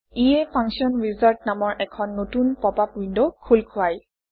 ইয়ে function wizard নামৰ এখন নতুন পপআপ উইণ্ড খোল খুৱায়